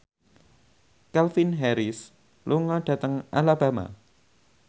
Calvin Harris lunga dhateng Alabama